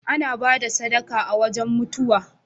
An ba da sadaka a wajan mutuwa.